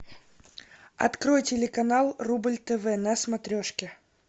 открой телеканал рубль тв на смотрешке